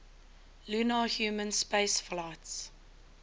lunar human spaceflights